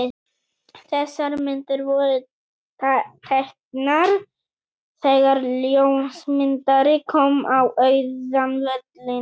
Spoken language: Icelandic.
Þessar myndir voru teknar þegar ljósmyndari kom á auðan völlinn.